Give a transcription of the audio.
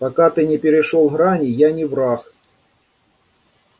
пока ты не перешёл грани я не враг